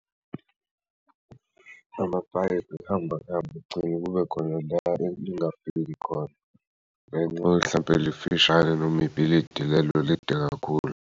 Amapayipi ahamba ehamba agcine kube khona la lingakafiki khona ngenxa mhlawumpe lifishane noma ibhilidi lelo elide kakhulu.